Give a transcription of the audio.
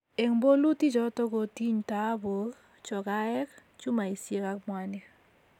eng bolutichoto kotiny dhaabuk, chokaek, chumaisiek ak mwanik